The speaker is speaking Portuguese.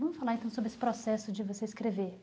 Vamos falar então sobre esse processo de você escrever.